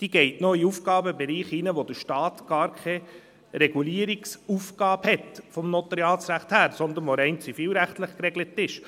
Sie geht in den Aufgabenbereich hinein, wo der Staat vom Notariatsrecht her gar keine Regulierungsaufgabe hat, sondern dieser ist rein zivilrechtlich geregelt.